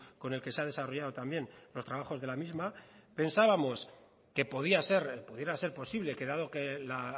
con el que se ha desarrollado también los trabajos de la misma pensábamos que podía ser pudiera ser posible que dado que la